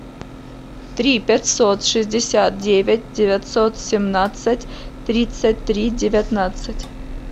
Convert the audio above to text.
три пятьсот шестьдесят девять девятьсот семнадцать тридцать три девятнадцать